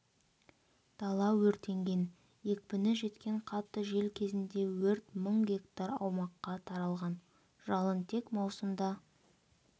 дала өртенген екпіні жеткен қатты жел кезінде өрт мың гектар аумаққа таралған жалын тек маусымда